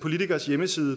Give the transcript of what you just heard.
politikers hjemmeside